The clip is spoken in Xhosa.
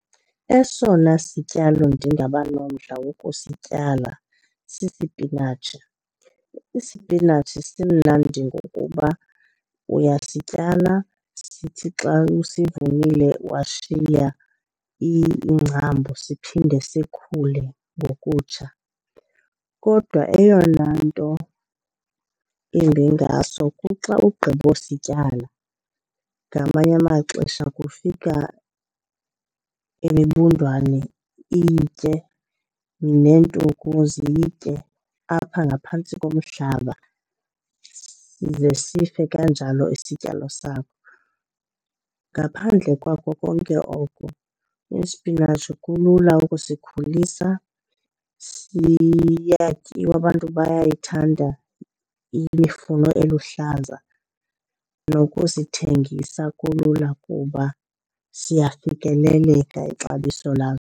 Esona sityalo ndingaba nomdla wokusityala sisipinatshi. Isipinatshi simnandi ngokuba uyasityala sithi xa usivunile washiya iingcambu siphinde sikhule ngokutsha. Kodwa eyona nto imbi ngaso kuxa ugqibosityala, ngamanye amaxesha kufika imibundwane iyitye, neentuku ziyitye apha ngaphantsi komhlaba size sife kanjalo isityalo sakho. Ngaphandle kwakho konke oko isipinatshi kulula ukusikhulisa, siyatyiwa, abantu bayayithanda imifuno eluhlaza. Nokusithengisa kulula kuba siyafikeleleka ixabiso laso.